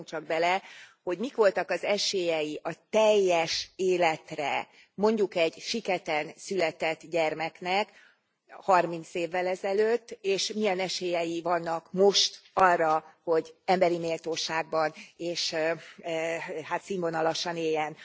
Gondoljunk csak bele, hogy mik voltak az esélyei a teljes életre mondjuk egy siketen született gyermeknek 30 évvel ezelőtt, és milyen esélyei vannak most arra, hogy emberi méltóságban és színvonalasan éljen.